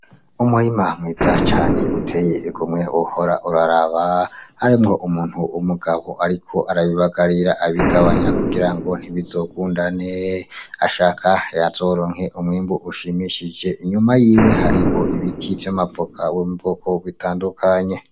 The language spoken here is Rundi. Umurima mwiza cane uteye igomwe wohora uraraba , harimwo umuntu w'umugabo ariko arabibagarira abigabanya kugira ngo ntibizogundane . Ashaka azoronke umwimbu ushimishije , inyuma yiwe hariho ibiti vy'amavoka vyo mu bwoko butandukanye.